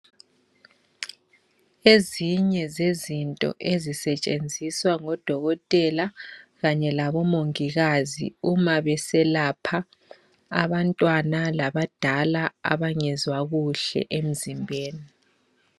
Ezinye zezinto ezisetshenziswa ngodokotela kanye labomongikazi uma beselapha abantwana labadala abangezwa kuhle emzimbeni.